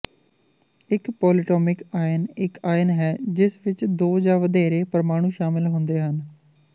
ਇੱਕ polyatomic ion ਇੱਕ ion ਹੈ ਜਿਸ ਵਿੱਚ ਦੋ ਜਾਂ ਵਧੇਰੇ ਪਰਮਾਣੂ ਸ਼ਾਮਲ ਹੁੰਦੇ ਹਨ